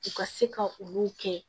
U ka se ka olu kɛ